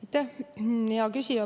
Aitäh, hea küsija!